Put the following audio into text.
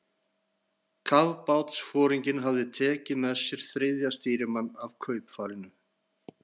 Kafbátsforinginn hafði tekið með sér þriðja stýrimann af kaupfarinu